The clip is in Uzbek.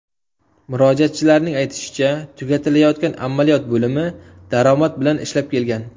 Murojaatchilarning aytishicha tugatilayotgan amaliyot bo‘limi daromad bilan ishlab kelgan.